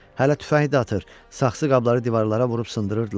Hələ tüfəngi də atır, saxsı qabları divarlara vurub sındırırdılar.